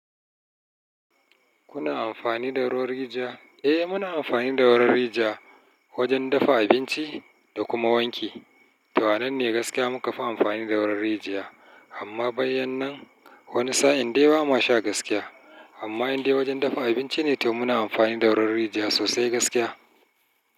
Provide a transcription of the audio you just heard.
Kuna amfani da ruwan rijiya? Muna amfani da ruwan rijiya wajen dafa abinci da kuma wanki. Toh a nan ne gaskiya muka fi amfani da ruwan rijiya amma bayan nan wani sa'in dai ba ma sha gaskiya. Amma in dai wajen dafa abinci ne toh muna amfani da ruwan rijiya sosai gaskiya.